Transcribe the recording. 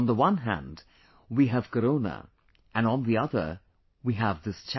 On the one hand, we have Corona and on the other we have this challenge